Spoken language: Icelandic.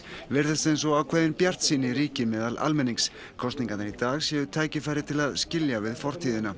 virðist eins og ákveðin bjartsýni ríki meðal almennings kosningarnar í dag séu tækifæri til að skilja við fortíðina